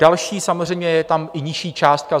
Další, samozřejmě je tam i nižší částka.